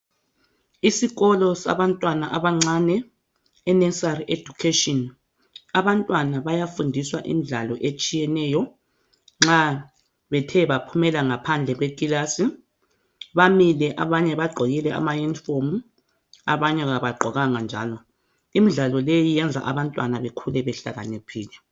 Isikolo sabantwana abancane inursery education abantwana bayafundiswa imidlalo etshiyeneyo nxa Bethe baphumela ngaphandle kwekilasi bamile abanye bagqokile ama uniform abanye kabagqokanga njalo imidlalo leyi oyenza abantwana bakhule behlakaniphile.